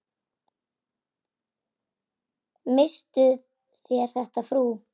Misstuð þér þetta, frú!